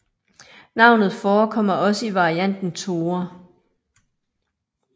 Navnet forekommer også i varianten Thore